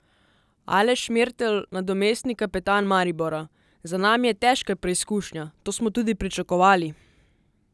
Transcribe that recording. Aleš Mertelj, nadomestni kapetan Maribora: "Za nami je težka preizkušnja, to smo tudi pričakovali.